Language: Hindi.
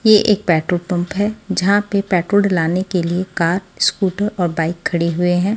ये एक पेट्रोल पंप पे जहां पे पेट्रोल लाने के लिए कार स्कूटर और बाइक खड़ी हुए हैं।